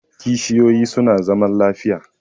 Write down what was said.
Kishiyoyi su na zaman lafiya